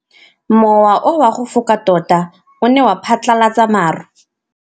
Mowa o wa go foka tota o ne wa phatlalatsa maru.